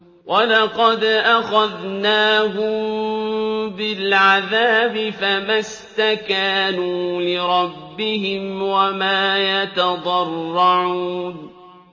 وَلَقَدْ أَخَذْنَاهُم بِالْعَذَابِ فَمَا اسْتَكَانُوا لِرَبِّهِمْ وَمَا يَتَضَرَّعُونَ